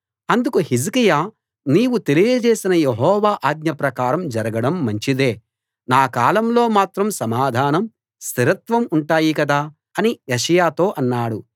అందుకు హిజ్కియా నీవు తెలియజేసిన యెహోవా ఆజ్ఞ ప్రకారం జరగడం మంచిదే నా కాలంలో మాత్రం సమాధానం స్థిరత్వం ఉంటాయి కదా అని యెషయాతో అన్నాడు